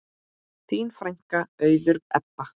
Þín frænka, Auður Ebba.